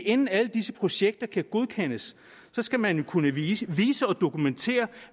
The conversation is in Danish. inden alle disse projekter kan godkendes skal man kunne vise og dokumentere